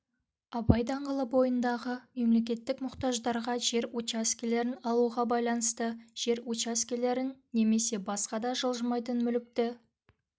абай даңғылы бойындағы мемлекеттік мұқтаждарға жер учаскелерін алуға байланысты жер учаскелерін немесе басқа да жылжымайтын мүлікті